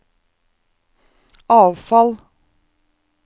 avfall